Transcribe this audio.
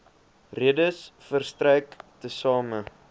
redes verstrek tesame